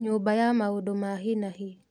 Nyũmba ya maũndũ ma hi na hi